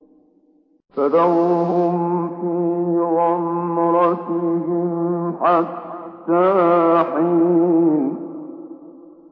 فَذَرْهُمْ فِي غَمْرَتِهِمْ حَتَّىٰ حِينٍ